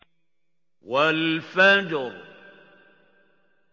وَالْفَجْرِ